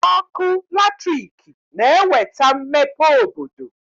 Ọkụ latriki na-eweta mmepe obodo